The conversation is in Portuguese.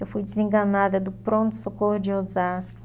Eu fui desenganada do pronto-socorro de Osasco.